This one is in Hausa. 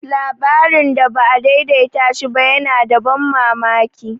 Labarin da ba a daidaita shi ba yana da ban mamaki.